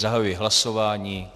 Zahajuji hlasování.